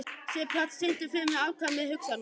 Sigurpáll, syngdu fyrir mig „Afkvæmi hugsana minna“.